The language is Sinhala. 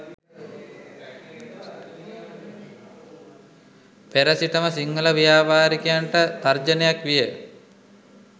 පෙර සිටම සිංහල ව්‍යාපාරිකයන්ට තර්ජනයක් විය